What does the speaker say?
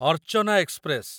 Archana express